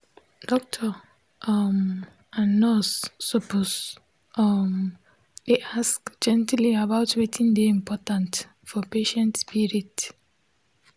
doctor um and nurse suppose um dey ask gently about wetin dey important for patient spirit